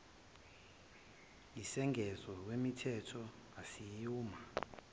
yisengezo kwimithetho asiyuma